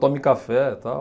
Tome café, tal.